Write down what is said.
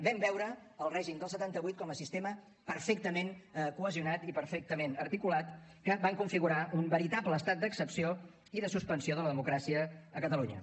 vam veure el règim del setanta vuit com a sistema perfectament cohesionat i perfectament articulat que va configurar un veritable estat d’excepció i de suspensió de la democràcia a catalunya